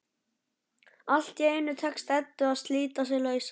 Allt í einu tekst Eddu að slíta sig lausa.